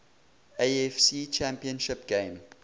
afc championship game